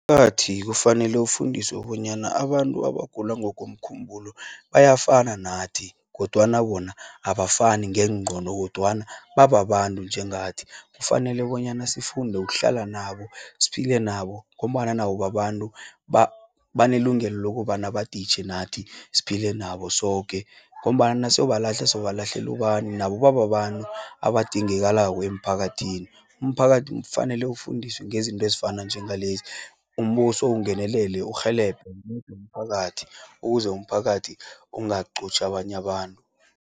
Umphakathi kufanele ufundiswe bonyana abantu abagula ngokomkhumbulo bayafana nathi, kodwana bona abafani ngeengqondo, kodwana babantu nje ngathi. Kufanele bonyana sifunde ukuhlala nabo, siphila nabo, ngombana nabo babantu. Banelungelo lokobana baditjhe nathi, siphile nabo soke, ngombana naso balahla sobalahlelu bani, nabo babantu abadingelako emphakathini. Umphakathi ufanele ufundiswe ngezinto ezifana njengalezi, umbuso ungenelele urhelebhe umphakathi, ukuze umphakathi ungaqotjhi abanya abantu.